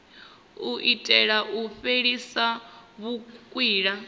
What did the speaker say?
u itela u fhelisa vhukwila